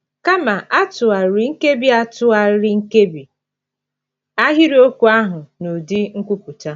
Kama, a tụgharịrị nkebi a tụgharịrị nkebi ahịrịokwu ahụ n'ụdị nkwupụta.